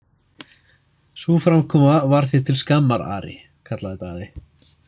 Sú framkoma var þér til skammar, Ari, kallaði Daði.